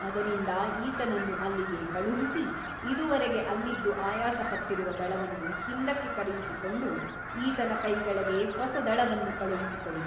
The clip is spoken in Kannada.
ಅದರಿಂದ ಈತನನ್ನು ಅಲ್ಲಿಗೆ ಕಳುಹಿಸಿ ಇದುವರೆಗೆ ಅಲ್ಲಿದ್ದು ಆಯಾಸಪಟ್ಟಿರುವ ದಳವನ್ನು ಹಿಂದಕ್ಕೆ ಕರೆಯಿಸಿಕೊಂಡು ಈತನ ಕೈಕೆಳಗೆ ಹೊಸ ದಳವನ್ನು ಕಳುಹಿಸಿಕೊಡಿ.